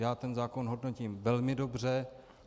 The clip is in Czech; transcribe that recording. Já ten zákon hodnotím velmi dobře.